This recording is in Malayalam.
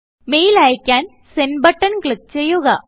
മെയിൽ അയ്ക്കാൻ സെൻഡ് ബട്ടൺ ക്ലിക്ക് ചെയ്യുക